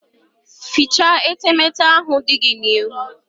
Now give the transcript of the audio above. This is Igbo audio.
Fichaa etemete ahụ dị gị n'ihu!